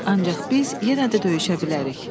Ancaq biz yenə də döyüşə bilərik.